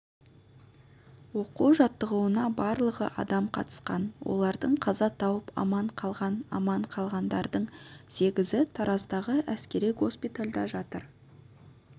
оқу-жаттығуына барлығы адам қатысқан олардың қаза тауып аман қалған аман қалғандардың сегізі тараздағы әскери госпитальда жатыр